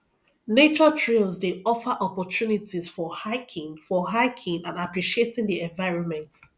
nature trails dey offer opportunities for hiking for hiking and appreciating the environment